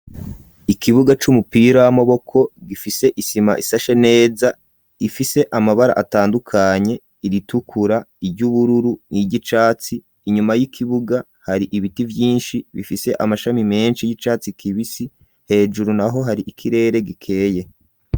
Ikibuga c'umupira w'amaboko gifise isima ishashe neza ifise amabara atandukanye iritukura, iry'ubururu n'iryicatsi, inyuma y'ikibuga hari ibiti vyinshi bifise amashami menshi y'icatsi kibisi hejuru naho hari ikirere gikeye.